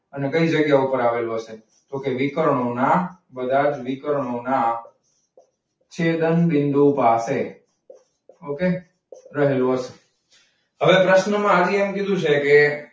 અને કઈ જગ્યા પર આવેલું હસે? તો કે વિકર્ણોના બધાજ વિકર્ણના છેદબિંદુ પાસે. okay રહેલું હશે. હવે પ્રશ્ના માં આની એમ કીધું છે કે,